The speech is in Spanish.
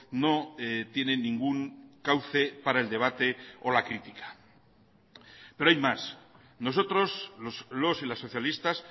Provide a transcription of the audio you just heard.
no tiene ningún cauce para el debate o la crítica pero hay más nosotros los y las socialistas